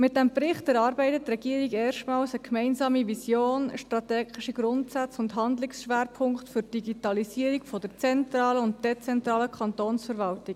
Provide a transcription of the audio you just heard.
Mit diesem Bericht erarbeitet die Regierung erstmals gemeinsam eine Vision, strategische Grundsätze und Handlungsschwerpunkte für die Digitalisierung der zentralen und dezentralen Kantonsverwaltung.